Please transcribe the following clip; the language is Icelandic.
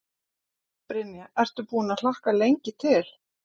Brynja: Ertu búinn að hlakka lengi til?